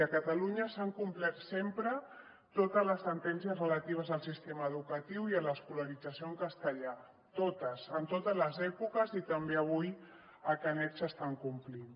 a catalunya s’han complert sempre totes les sentències relatives al sistema educatiu i a l’escolarització en castellà totes en totes les èpoques i també avui a canet s’estan complint